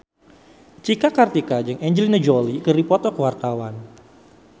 Cika Kartika jeung Angelina Jolie keur dipoto ku wartawan